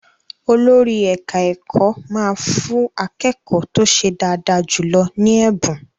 Olórí ẹ̀ka-ẹ̀kọ́ máa fú akékọ́ọ̀ tó ṣe dáadáa jùlọ ní ẹ̀bùn.